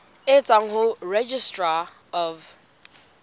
e tswang ho registrar of